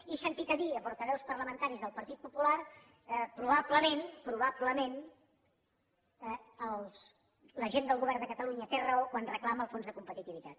he sentit a dir a portaveus parlamentaris del partit popular probablement probablement la gent del govern de catalunya té raó quan reclama el fons de competitivitat